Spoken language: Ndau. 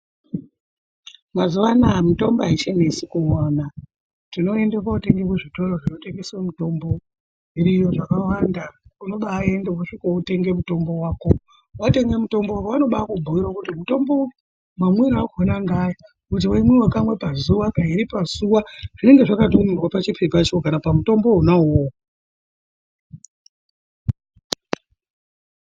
Mazuwanaya mitombo aichanesi kuwana tinoende kotenge kuzvitoro zvinotengese mutombo zviriyo zvakawanda unobaende wosvika wotenge mutombo wako, watenge mutombo wako vanobakubhiire kuti mutombo uyu mamwire akona ngeaya kuti weimwiwa kamwe pazuwa, kairi pazuwa zvinenge zvakatonyorwa pachipepacho kana pamutombowo wona uwowo.